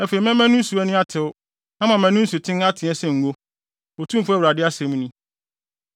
Afei mɛma ne nsu ani atew na mama ne nsuten ateɛ sɛ ngo, Otumfo Awurade asɛm ni.